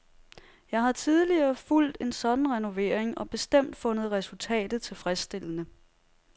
Jeg har tidligere fulgt en sådan renovering og bestemt fundet resultatet tilfredsstillende.